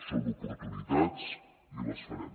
són oportunitats i les farem